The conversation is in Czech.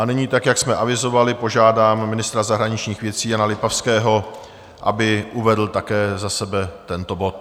A nyní, tak jak jsme avizovali, požádám ministra zahraničních věcí Jana Lipavského, aby uvedl také za sebe tento bod.